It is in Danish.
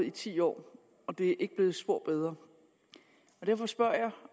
i ti år og det er ikke blevet spor bedre derfor spørger jeg